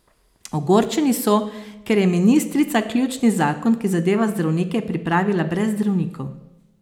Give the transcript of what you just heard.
Ogorčeni so, ker je ministrica ključni zakon, ki zadeva zdravnike, pripravila brez zdravnikov.